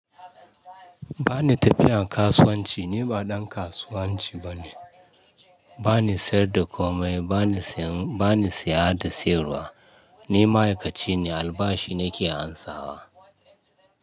Ba ni tafiyan kasuwanci, ni ba ɗan kasuwanci bane. Ba ni sayar da komai, ba ni saya da sayarwa. Ni ma'aikaci ne, albashi nake ansawa.